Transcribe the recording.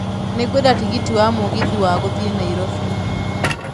Nĩ ngwenda tigiti wa mũgithi wa gũthiĩ Nairobi